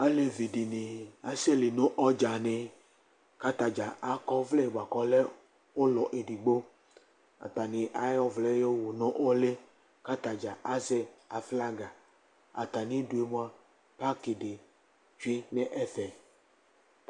Alevi dini aséli nu ɔdjani Ata dzaa akɔ ɔʋlɛ bua ku ɔlɛ ulɔ édi gbo Ata ni ayɔ ɔʋlɛ yowω nu ũli ka ata dzaa azɛ aƒlaga, atani dué mua paki dĩ tchué nɛƒɛ